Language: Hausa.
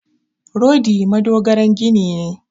Rodi madogaran gini ne.